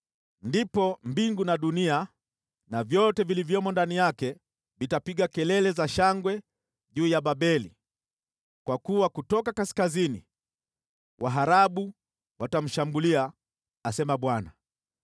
Ndipo mbingu na dunia na vyote vilivyomo ndani yake vitapiga kelele za shangwe juu ya Babeli, kwa kuwa kutoka kaskazini waharabu watamshambulia,” asema Bwana .